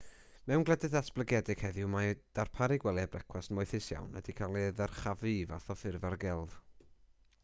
mewn gwledydd datblygedig heddiw mae darparu gwely a brecwast moethus iawn wedi cael ei ddyrchafu i fath o ffurf ar gelf